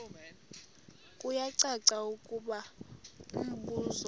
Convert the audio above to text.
kuyacaca ukuba umbuso